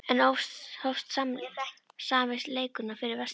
Enn hófst sami leikurinn og fyrir Vestfjörðum.